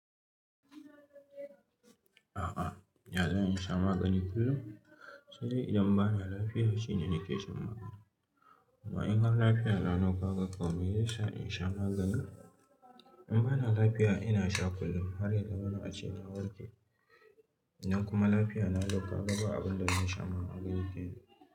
A'a, ya zan in sha magani kullum? Sai idan ba na lafiya shine nake shan magani. Kuma in har lafiya na lokaka, kau, me ya sa in sha magani? In ba na lafiya ina sha kullum har ya zamana ace na warke. Idan kuma lafiya na lokaka ba abun da zai sa mu magani kenan.